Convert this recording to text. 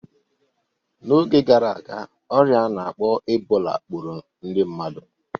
N'oge gara aga, ọrịa a na-akpọ Ebola gburu ndị mmadu